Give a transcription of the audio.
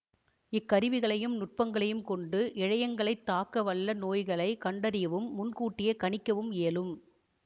இக்கருவிகளையும் நுட்பங்களையும் கொண்டு இழையங்களைத் தாக்க வல்ல நோய்களை கண்டறியவும் முன் கூட்டியே கணிக்கவும் இயலும்